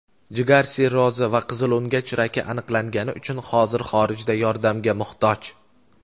jigar sirrozi va qizilo‘ngach raki aniqlangani uchun hozir xorijda yordamga muhtoj.